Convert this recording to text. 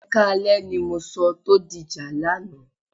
Ẹ káalẹ́ ni mo sọ tó dìjà lánàá.